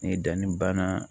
Ni danni banna